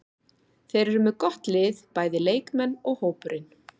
Þeir eru með gott lið, bæði leikmenn og hópurinn.